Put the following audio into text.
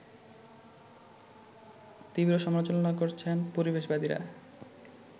তীব্র সমালোচনা করছেন পরিবেশবাদীরা